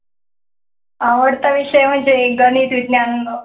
आवडता विषय म्हणजे गणित विज्ञान.